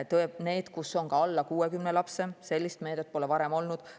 Toetust saavad ka need koolid, kus on alla 60 lapse – sellist meedet pole varem olnud.